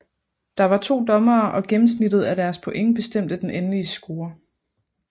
Der var to dommere og gennemsnittet af deres point bestemte den endelige score